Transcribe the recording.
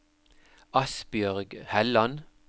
Asbjørg Helland